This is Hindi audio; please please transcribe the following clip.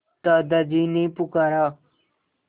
दादाजी ने पुकारा